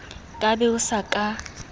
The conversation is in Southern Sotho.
ka be o sa ka